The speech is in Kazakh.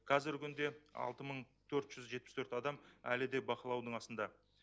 қазіргі күнде алты мың төрт жүз жетпіс төрт адам әлі де бақылаудың астында